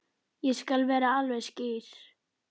Ég skal vera alveg skýr.